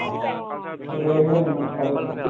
ত লৈ আহিবা নেকি ইমান খোৱা বস্তু কিবা